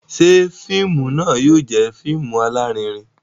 Ṣe fíìmù náà yóò jẹ fíìmù alarinrin?